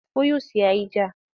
Fuyus ya yi ja.